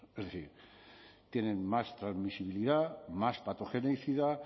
es decir tienen más transmisibilidad más patogenicidad